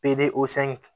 osangi